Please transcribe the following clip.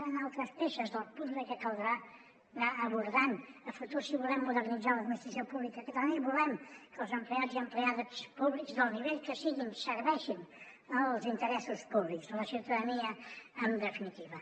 seran altres peces del puzle que caldrà anar abordant a futur si volem modernitzar l’administració pública catalana i volem que els empleats i empleats públics del nivell que siguin serveixin els interessos públics de la ciutadania en definitiva